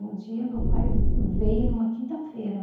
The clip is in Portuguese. E um dia meu pai veio numa quinta-feira.